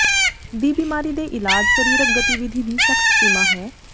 ਦੀ ਬਿਮਾਰੀ ਦੇ ਇਲਾਜ ਸਰੀਰਕ ਗਤੀਵਿਧੀ ਦੀ ਸਖਤ ਸੀਮਾ ਹੈ